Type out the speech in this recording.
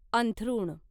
अंथरुण